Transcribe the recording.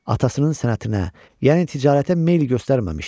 Atasının sənətinə, yəni ticarətə meyl göstərməmişdi.